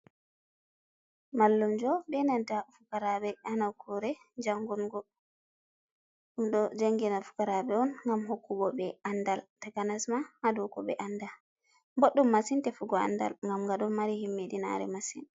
Mallumjo be nanta fukarabe ha nukkure jangungo. Ɗum ɗo jangina fukaraɓe on ngam hokkugo ɓe andal takanas ma ha dou ko ɓe anda. Boɗɗum masin tefugo andal ngam nga ɗomari himmiɗinare masin.